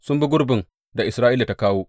Sun bi gurbin da Isra’ila ta kawo.